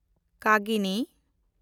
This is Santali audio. ᱠᱟᱜᱤᱱᱤ